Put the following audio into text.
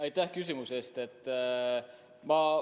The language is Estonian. Aitäh küsimuse eest!